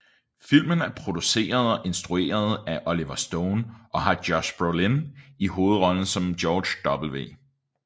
Filmen er produceret og instrueret af Oliver Stone og har Josh Brolin i hovedrollen som George W